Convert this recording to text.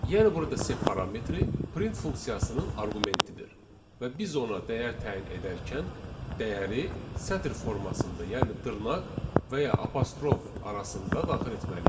Yəni burada sep parametri print funksiyasının arqumentidir və biz ona dəyər təyin edərkən dəyəri sətr formasında, yəni dırnaq və ya apostrof arasında daxil etməliyik.